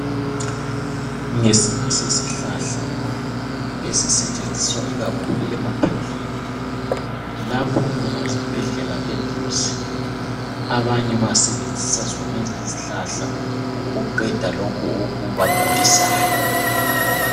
Ngesinye sesihlahla esisetshenziswa ikakhulu emaphandleni. Lapho okungela zibhedlela eduze, abanye basebenzisa zonezo izihlahla ukuqeda lokhu okubagulisayo.